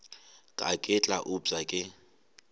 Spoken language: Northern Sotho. ka ke tla upša ke